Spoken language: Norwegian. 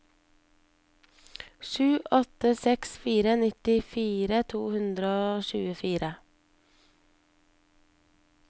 sju åtte seks fire nittifire to hundre og tjuefire